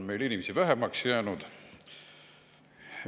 Rõdul on inimesi vähemaks jäänud.